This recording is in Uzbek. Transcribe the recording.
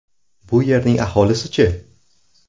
Bu yerning aholisi-chi?